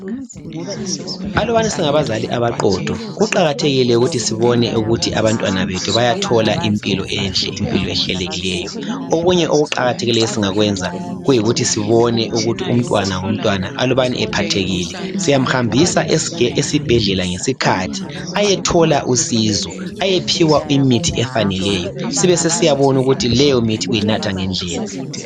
Alubana singabazali abaqotho kuqakathekile ukuthi sibone ukuthi abantwana bethu bayathola impilo enhle impilo ehlelekileyo. Okunye okuqakathekileyo esingakwenza Kuyikuthi sibone ukuthi umtwana ngomtwana alubana ephathekile. Siyamhambisa esibhedlela ngesikhathi ayethola usizo. Ayephiwa imithi efaneleyo. Sibe sesiyabona ukuthi leyo mithi uyinatha ngendlela